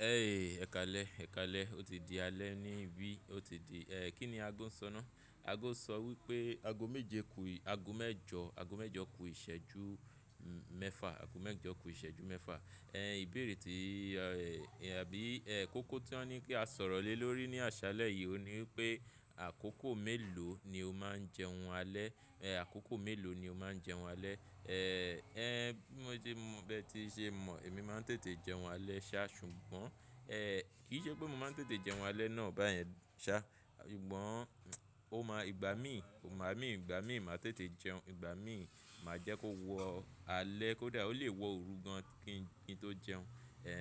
Ẹ káalẹ, o ti di alẹ ni bí o ti di. Kí ni aago ń sọ ná? Aago ń sọ wípé aago méje ku aago mẹ́jọ, aago mẹ́jọ ku ìṣẹ́jú mẹ́fa, aago mẹ́jọ ku ìṣẹ́jú mẹ́fa. Ẹ ìbéèrè tí àbí kókó tí wọ́n ní kí a sọ̀rọ̀ lé lórí ní àṣálẹ́ yìí o ni wípé àkókò mélòó ni ó máa ń jẹun alẹ́, àkókò mélòó ni ó máa ń jẹun alẹ́. Ẹ bí mo ṣe mọ̀ bẹ́ẹ̀ tí ṣe mọ̀, èmi máa ń tètè jẹun alẹ́ ṣá ṣùgbọ́n kì í ṣe pé mo máa ń tètè jẹun alẹ́ náà báyẹn ṣá. Ṣùgbọ́n ó máa igba mi, ò máa mí, ìgbà mí ì máa tètè jẹun, ìgbà mí ì máa jẹ́ kó wọ alẹ́ kó dà ó lè wọ òru gan kí n tó jẹun. Ẹ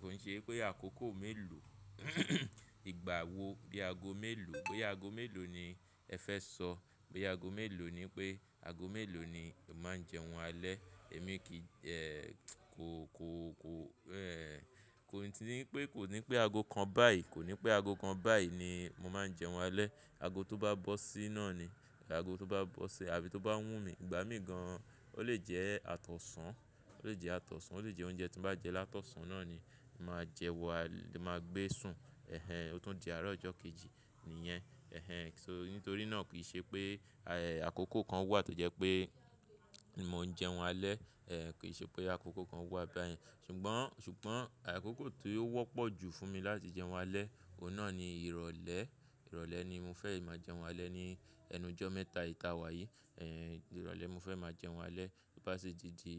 ko n ṣe pé àkókò mélòó, ìgbà wo bí aago mélòó, bóyá aago mélòó ni ẹ fẹ́ sọ, bóyá aago mélòó ni pé aago mélòó ni ó máa ń jẹun alẹ́. Èmi kì í kò, kò, kò, kò ní ti pé kò ní pé aago kan báyìí, kò ní pé aago kan báyìí ni mo máa ń jẹun alẹ́. Aago tó bá bọ́ sí náà ni aago tó bá bọ́ sí àbí tó bá wù mí, ìgbà mí gan o lè jẹ́ àtọ̀sàn, ó lè jẹ́ àtọ̀sàn, ó lè jẹ́ oúnjẹ tín bá jẹ́ látọ̀sàn náà ni màá jẹun wá, màá gbé sun. Ẹ̀hẹn, ó tún di àárọ̀ ọjọ́ kejì nìyẹn. Ẹ̀hẹn, nítorí náà kì í ṣe pé àkókò kan wà tó jẹ́ pé mò ń jẹun alẹ́, kì í ṣe pé àkókò kan wà báyẹn. Ṣùgbọ́n, ṣùgbọ́n àkókò tí ó wọ́pọ̀ jù fún mi láti jẹun alẹ́, òun náà ni ìrọ̀lẹ́. Ìrọ̀lẹ́ ni mo fẹ́ máa jẹun alẹ́ ní ẹnu ọjọ́ mẹ́ta ì ta wa yìí. Ìrọ̀lẹ́ mo fẹ́ máa jẹun alẹ́ bó ṣe ti ti,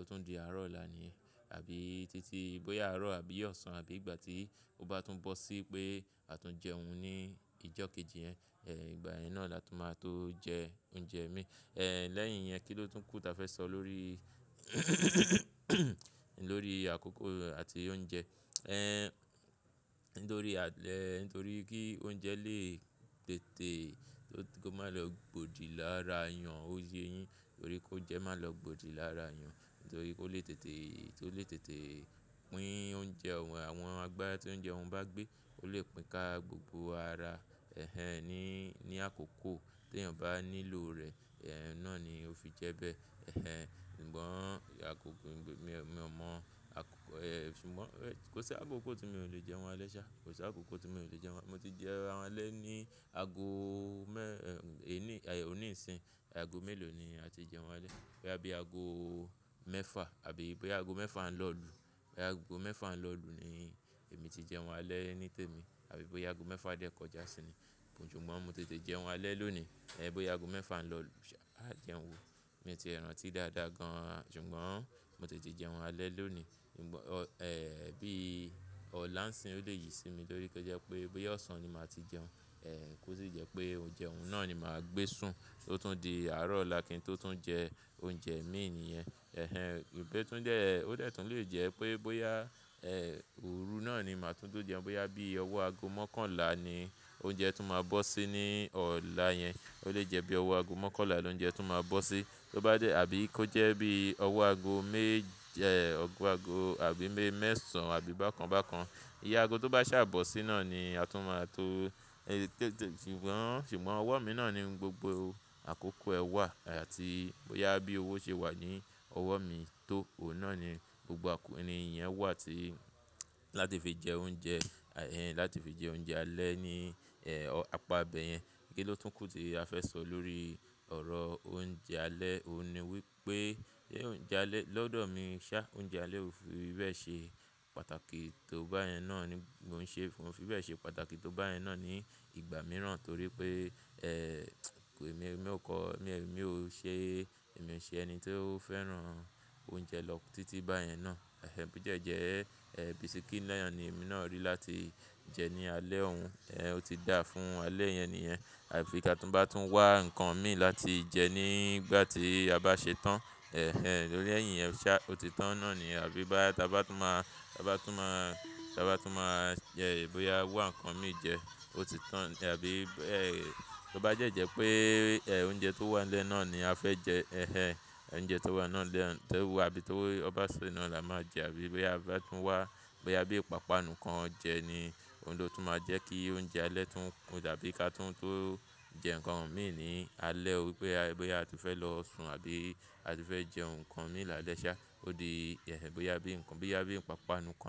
ó tún di àárọ̀ ọ̀la nìyẹn àbí títí bóyá àárọ̀ àbí ọ̀sán àbí ìgbà tí ó bá tún bọ́ sí pé a tún jẹun ní ìjọ́ kejì yẹn, ìgbà yẹn náà la tún máa tó jẹ oúnjẹ mi. Ẹ lẹ́yìn yẹn, kí ló tún kù tí a fẹ́ sọ lórí, lórí àkókò àti oúnjẹ? Ẹ nítorí àlẹ́, nítorí kí oúnjẹ lè tètè tó má lọ gbòdì lára èèyàn, ó ye yín torí kóunjẹ má lọ gbòdì lára iyàn. Nítorí kó lè tètè, tó lè tètè pín oúnjẹ òun àwọn agbá tí oúnjẹ òun bá gbé, ó lè pín ká gbogbo ara. Ẹ̀hẹn, ní, ní àkókò tí ènìyàn bá nílò rẹ̀, ẹ̀ náà ni ó fi jẹ bẹ́ẹ̀. Ẹ̀hẹn, ṣùgbọ́n àkókò mi ò mọ̀ àkókò ẹ̀ ṣùgbọ́n kò sí àkókò tí mi ò lè jẹun alẹ́ ṣá, kò sí àkókò tí mi ò lè jẹun alẹ́. Mo ti jẹun alẹ́ ní aago mẹ́, ẹ ní òní ìsìn, aago mélòó ni a ti jẹun alẹ́? Bóyá bí aago mẹ́fa àbí bóyá aago mẹ́fa ń lọ lù. Bóyá aago mẹ́fa ń lọ lù ni èmi ti jẹun alẹ́ nítèmi àbí bóyá aago mẹ́fa dẹ́kọjá sí i ni. Ṣùgbọ́n mo tètè jẹun alẹ́ lónìí, bóyá aago mẹ́fa ń lọ lù ṣá a jẹun wò. Mi o ti rántí dáadáa gan ṣùgbọ́n mo tètè jẹun alẹ́ lónìí. Ṣùgbọ́n bí ọ̀la ń sìn ó lè yí sí mi torí kó jẹ́ pé bóyá ọ̀sán ni màá ti jẹun, kó sì jẹ́ pé oúnjẹ òun náà ni màá gbé sun tó tún di àárọ̀ ọ̀la kí n tó tún jẹ oúnjẹ mi nìyẹn. Ẹ̀hẹn, òtún jẹ́, ó tẹ́tún lè jẹ́ pé bóyá òru náà ni màá tún tó jẹun, bóyá bí ọwọ́ aago mọ́kànlá ni oúnjẹ tí màá bọ́ sí ní ọ̀la yẹn. Ó lè jẹ́ bí ọwọ́ aago mọ́kànlá ni oúnjẹ tún màá bọ́ sí. Tó bá jẹ́ àbí kó jẹ́ bí ọwọ́ aago méje, ọgọ́ aago àbí mẹ́sàn án àbí bákan bákan. Iye aago tó bá ṣà bọ́ sí náà ni a tún máa tó tètè ṣùgbọ́n ṣùgbọ́n ọwọ́ mi náà ni gbogbo àkókò ẹ wà àti bóyá bí owó ṣe wà ní ọwọ́ mi tó, òun náà ni gbogbo àkókò ni yẹn wà tí láti fi jẹ oúnjẹ, láti fi jẹ oúnjẹ alẹ́ ní apá bẹ yẹn. Kí ló tún kù tí a fẹ́ sọ lórí ọ̀rọ̀ oúnjẹ alẹ́ òun ni wípé lọ́dọ̀ mi ṣá oúnjẹ alẹ́ ò fi bẹ́ẹ̀ ṣe pàtàkì tó báyẹn náà ni mò ń ṣe fún, kò fi bẹ́ẹ̀ ṣe pàtàkì tó báyẹn náà ní ìgbà mìíràn torí pé èmi ò kọ́, èmi ò ṣe, èmi ò ṣe ẹni tó fẹ́ràn oúnjẹ lọ títí báyẹn náà. Ẹ̀hẹn, bó dẹ̀ jẹ́ bisikí náà ni èmi náà rí láti jẹ ní alẹ́ ọ́un, ó ti dà fún alẹ́ yẹn nìyẹn. Àbí ká tún bá tún wá nǹkan mi láti jẹ nígbà tí a bá ṣe tán. Ẹ̀hẹn, lórí ẹ̀ yìn yẹn ṣá ó ti tán náà ni àbí bóyá tí a bá tún máa, tí a bá tún máa, tí a bá tún máa jẹ bóyá wa nǹkan mi jẹ, ó ti tán àbí tó bá jẹ́ jẹ́ pé oúnjẹ tó wàn lẹ́ náà ni a fẹ́ jẹ. Ẹ̀hẹn, oúnjẹ tó wà lẹ́ náà tó wà àbí tó bá ṣú iná la máa jẹ àbí bóyá a bá tún wá, bóyá bí ìpápánu kan jẹ ni òun ló tún máa jẹ́ kí oúnjẹ alẹ́ tún kún àbí ká tún tó jẹ nǹkan mi ní alẹ́, bóyá a tún fẹ́ lọ sun àbí a tún fẹ́ jẹ nǹkan mi láàlẹ́ ṣá. Ó di ẹ̀ ẹ bóyá bí nǹkan, bóyá bí ìpápánu kan.